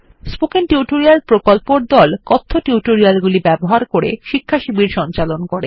spoken tutorial প্রকল্পর দল কথ্য টিউটোরিয়াল গুলি ব্যবহার করে শিক্ষাশিবির সঞ্চালন করে